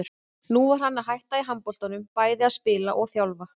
Nú var hann að hætta í handboltanum, bæði að spila og þjálfa.